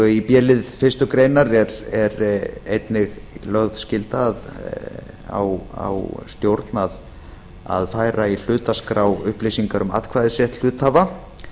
í b lið fyrstu grein er einnig lögð skylda á stjórn að færa í hlutaskrá upplýsinga um atkvæðisrétt hluthafa